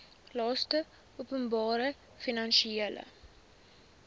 laste openbare finansiële